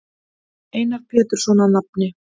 Einar Pétursson að nafni.